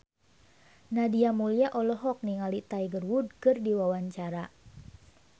Nadia Mulya olohok ningali Tiger Wood keur diwawancara